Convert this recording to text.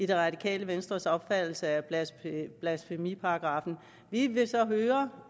det radikale venstres opfattelse af blasfemiparagraffen vi vil så høre